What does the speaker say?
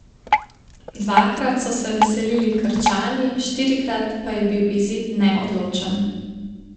Dvakrat so se veselili Krčani, štirikrat pa je bil izid neodločen.